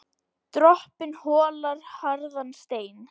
Dropinn holar harðan stein.